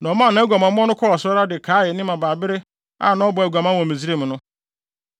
Na ɔmaa nʼaguamammɔ no kɔɔ so ara de kaee ne mmabaabere a na ɔbɔ aguaman wɔ Misraim no.